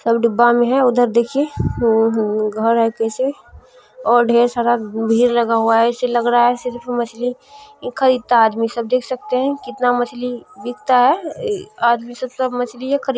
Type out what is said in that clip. सब डिब्बा में है उधर देखिए उहू घर है कैसे और ढ़ेर सारा भीड़ लगा हुआ है ऐसे लग रहा है सिर्फ मछली खरीदता है आदमी सब। देख सकते हैं कितना मछली बिकता है। ई आदमी सब त मछलिए खरीद --